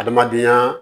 Adamadenya